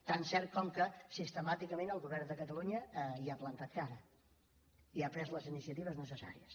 tan cert com que sistemàticament el govern de catalunya hi ha plantat cara i ha pres les iniciatives necessàries